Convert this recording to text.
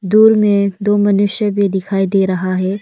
दूर में दो मनुष्य भी दिखाई दे रहा है।